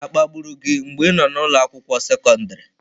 Akpagburu gị mgbe ị nọ n'ụlọ akwụkwọ sekọndrị?